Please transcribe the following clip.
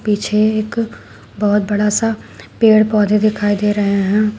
पीछे एक बहोत बड़ा सा पेड़ पौधे दिखाई दे रहे हैं।